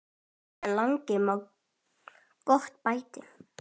En lengi má gott bæta.